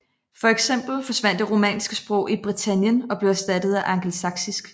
Fx forsvandt det romanske sprog i Britannien og blev erstattet af angelsaksisk